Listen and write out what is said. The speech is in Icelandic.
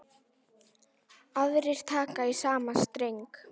Aðrir taka í sama streng.